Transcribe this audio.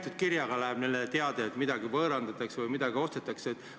Kas neile läheb tähitud kirjaga teade, et midagi võõrandatakse või midagi ostetakse?